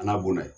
A n'a bonda